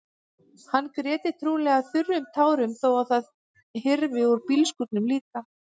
Hann gréti trúlega þurrum tárum þó að það hyrfi úr bílskúrnum líka.